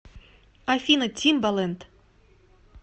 афина тимбалэнд